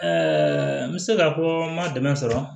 Ɛɛ n bɛ se ka fɔ n ma dɛmɛ sɔrɔ